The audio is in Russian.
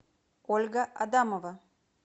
ольга адамова